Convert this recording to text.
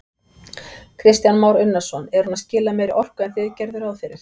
Kristján Már Unnarsson: Er hún að skila meiri orku en þið gerðuð ráð fyrir?